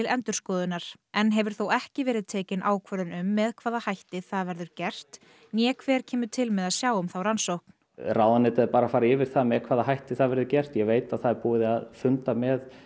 endurskoðunar enn hefur þó ekki verið tekin ákvörðun um með hvaða hætti það verður gert né hver kemur til með að sjá um þá rannsókn ráðuneytið er bara að fara yfir það með hvaða hætti það verður gert ég veit að það er búið að funda með